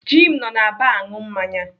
Jim nọ na baa aṅụ mmanya.